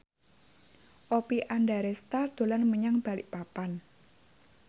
Oppie Andaresta dolan menyang Balikpapan